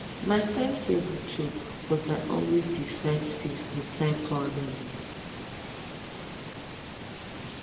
my time table choke but i always dey find space for time planning